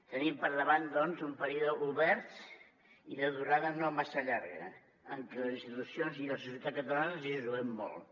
tenim per davant doncs un període obert i de durada no massa llarga en què les institucions i la societat catalana ens hi juguem molt